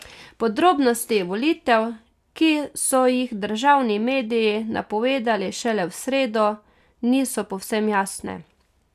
Podrobnosti volitev, ki so jih državni mediji napovedali šele v sredo, niso povsem jasne.